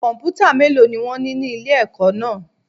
Kọ̀m̀pútà mélòó ni wón ní ní ilé ẹ̀kọ́ náà.